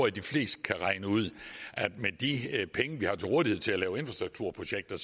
at de fleste kan regne ud at med de penge vi har til rådighed til at lave infrastrukturprojekter